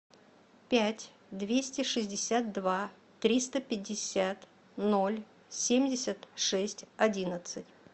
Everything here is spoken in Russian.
пять двести шестьдесят два триста пятьдесят ноль семьдесят шесть одиннадцать